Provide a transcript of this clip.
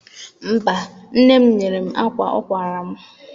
Mba, nne m nyere m akwa ọ kwara m.